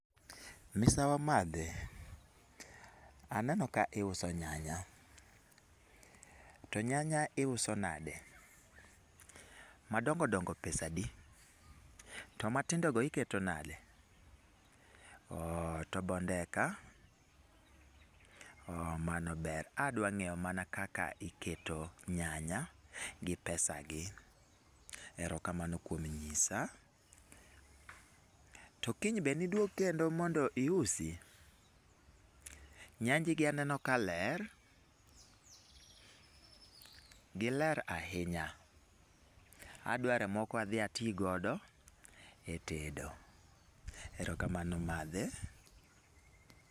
Misawa madhe. Aneno ka iuso nyanya. To nyanya iuso nade? Madongo dongo pesa adi? To matindo go iketo nade? Oooh, to bondeka? Oooh mano ber. Adwa ng'eyo mana kaka iketo nyanya, gi pesa gi. Erokamano kuom nyisa. To kiny be niduog kendo mondo iusi? Nyanji gi aneno ka ler, gi ler ahinya. Adware moko adhi ati godo, e tedo. Erokamano madhe.